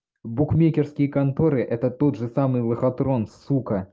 букмекерские конторы это тот же самый лохотрон сука